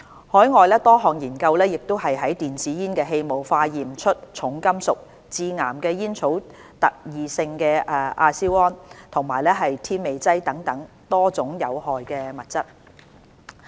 海外多項研究亦於電子煙的氣霧化驗出重金屬、致癌的煙草特異性亞硝胺，以及添味劑等其他多種有害物質。